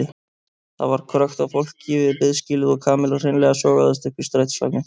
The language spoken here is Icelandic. Það var krökkt af fólki við biðskýlið og Kamilla hreinlega sogaðist upp í strætisvagninn.